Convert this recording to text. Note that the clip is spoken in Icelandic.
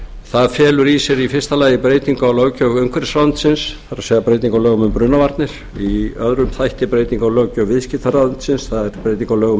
það felur í sér í fyrsta lagi breytingu á löggjöf umhverfisráðuneytisins það er breytingu á lögum um brunavarnir í öðrum þætti breyting á löggjöf viðskiptaráðuneytisins það er breyting